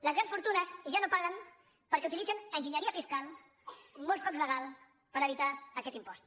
les grans fortunes ja no el paguen perquè utilitzen enginyeria fiscal molts cops legal per evitar aquest impost